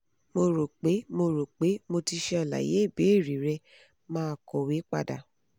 mo rope mo rope mo ti ṣe alaye ibeere rẹ maa kọwe pada